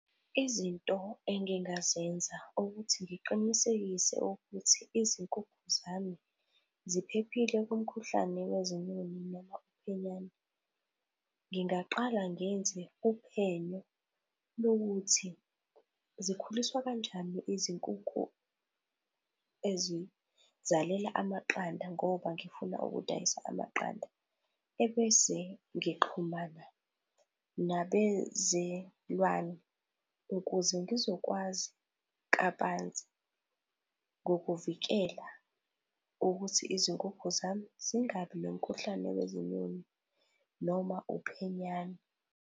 Izinto engingazenza ukuthi ngiqinisekise ukuthi izinkukhu zami ziphephile kumkhuhlane wezinyoni noma uphenyane, ngingaqala ngenze uphenyo lokuthi zikhuliswa kanjani izinkukhu ezizalela amaqanda ngoba ngifuna ukudayisa amaqanda ebese ngixhumana nabezelwane ukuze ngizokwazi kabanzi ngokuvikela ukuthi izinkukhu zami zingabi nomkhuhlane wezinyoni noma uphenyane.